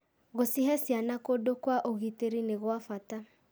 Gũcihe ciana kũndũ kwa ũgitĩri nĩ gwa bata.